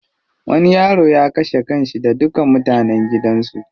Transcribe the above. Wani yaro ya kashe kanshi da duka mutanen gidan su.